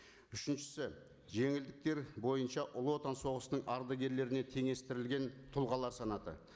үшіншісі жеңілдіктер бойынша ұлы отан соғысының ардагерлеріне теңестірілген тұлғалар санаты